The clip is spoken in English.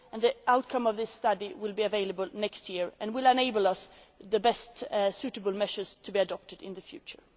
the EU. The outcome of this study will be available next year and will enable us to determine the best suitable measures to be adopted in